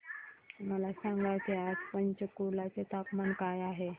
मला सांगा की आज पंचकुला चे तापमान काय आहे